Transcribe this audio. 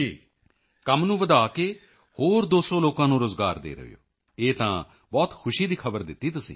ਹੋਰ ਨਵੇਂ ਐਕਸਪੈਂਸ਼ਨ ਕਰਕੇ ਹੋਰ 200 ਲੋਕਾਂ ਨੂੰ ਰੋਜ਼ਗਾਰ ਦੇ ਰਹੇ ਹੋ ਇਹ ਤਾਂ ਬਹੁਤ ਖੁਸ਼ੀ ਦੀ ਖਬਰ ਦਿੱਤੀ ਤੁਸੀਂ